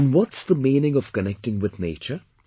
And What's the meaning of connecting with nature